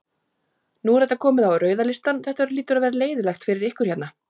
Nú er þetta komið á rauða listann, þetta hlýtur að vera leiðinlegt fyrir ykkur hérna?